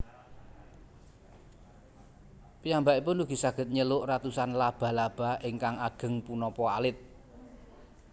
Piyambakipun ugi saged njeluk atusan laba laba ingkang ageng punapa alit